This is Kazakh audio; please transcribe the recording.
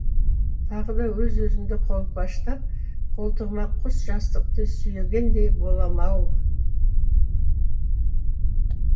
тағы да өз өзімді қолпаштап қолтығыма құс жастықты сүйегендей болам ау